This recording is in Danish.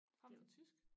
Fremfor tysk